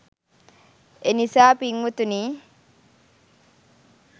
එනිසා පින්වතුනි,